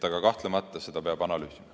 Kahtlemata seda peab analüüsima.